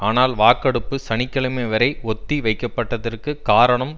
ஆனால் வாக்கெடுப்பு சனி கிழமை வரை ஒத்தி வைக்கப்பட்டதற்கு காரணம்